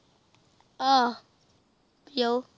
ਆਹ